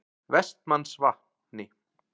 Vestmannsvatni